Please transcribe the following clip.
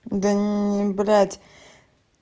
да блядь